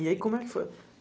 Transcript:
E aí, como é que foi?